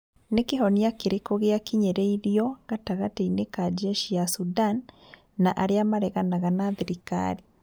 Nĩ kĩhonia kĩrĩkũ gĩakinyĩrĩirio gatagatĩ-inĩ ka njeshi ya Sudan na arĩa mareganaga na thirikari?